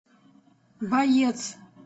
боец